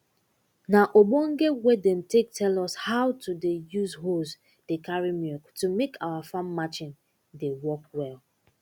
na obonge way dem take tell us how to dey use hose dey carry milk to make our farm marchin dey work well